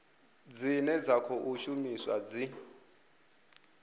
dzine dza khou shumiswa dzi